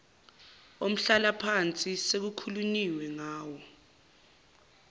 omhlalaphansi sekukhulunyiwe ngawo